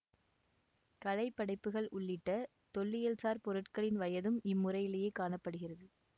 கலைப்படைப்புகள் உள்ளிட்ட தொல்லியல்சார் பொருட்களின் வயதும் இம்முறையிலேயே காண படுகிறது